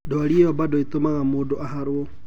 Ndwari iyo bado itumaga mũndũ aharwo.